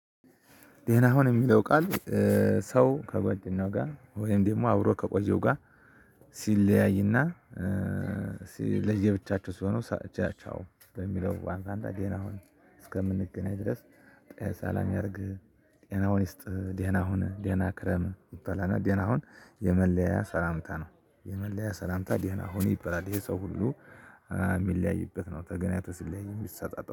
ደህና ሀን የሚለው ቃል ሰው ከጓደኛው ጋር ወይም ደግሞ አብሮ ከቆየው ጋር። ሲለያይና። ለየብቻቸው ሲሆኑ ቻው በሚለው ዋንጣንዳ ደህና አሁን እስከምንገናኝ ድረስ። ጠሰላም ያርግህ ጤናውን ይስጥ ዴናሁን ዴና ክረም ይባላል። እና አሁን የመለያ ሰላምታ ነው። የመለያ ሰላምታ ደህና አሁን ይበላል ይሄ ሰው ሁሉ የሚለያይበት ነው ተገናኝቶ ሲለያይ የሚሰጣጥ